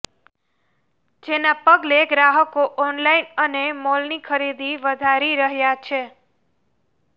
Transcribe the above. જેના પગલે ગ્રાહકો ઓનલાઇન અને મોલની ખરીદી વધારી રહ્યા છે